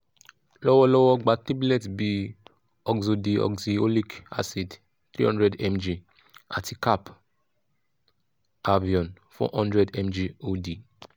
lowolowo gba tablet bi ursodeoxyxholic acid three hundred mg ati cap avion four hundred mg od